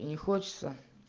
и не хочется